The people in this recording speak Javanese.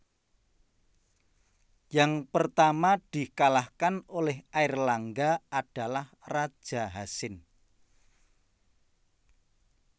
Yang pertama dikalahkan oleh Airlangga adalah Raja Hasin